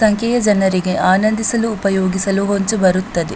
ಸಂಖ್ಯೆಯ ಜನರಿಗೆ ಆನಂದಿಸಲು ಉಪಯೋಗಿಸಲು ಹೊಂಚು ಬರುತ್ತದೆ .